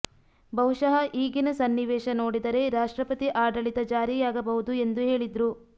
ಬಹುಶಃ ಈಗಿನ ಸನ್ನಿವೇಶ ನೋಡಿದರೆ ರಾಷ್ಟ್ರಪತಿ ಆಡಳಿತ ಜಾರಿಯಾಗಬಹುದು ಎಂದು ಹೇಳಿದ್ರು